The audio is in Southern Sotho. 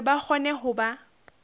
hore ba kgone ho ba